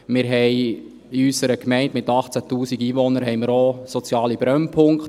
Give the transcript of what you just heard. Wir haben in unserer Gemeinde mit 18 000 Einwohnern auch soziale Brennpunkte: